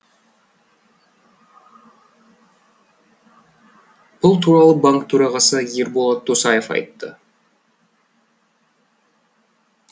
бұл туралы банк төрағасы ерболат досаев айтты